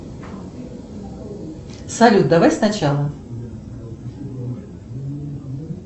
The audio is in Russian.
салют давай сначала